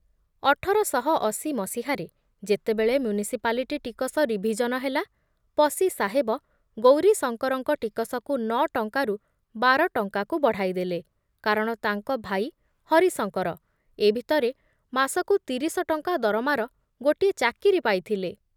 ଅଠର ଶହ ଅଶି ମସିହା ରେ ଯେତେବେଳେ ମ୍ୟୁନିସିପାଲିଟି ଟିକସ ରିଭିଜନ ହେଲା, ପସି ସାହେବ ଗୌରୀଶଙ୍କରଙ୍କ ଟିକସକୁ ନ ଟଙ୍କାରୁ ବାର ଟଙ୍କାକୁ ବଢ଼ାଇ ଦେଲେ, କାରଣ ତାଙ୍କ ଭାଇ ହରିଶଙ୍କର ଏ ଭିତରେ ମାସକୁ ତିରିଶ ଟଙ୍କା ଦରମାର ଗୋଟିଏ ଚାକିରି ପାଇଥିଲେ ।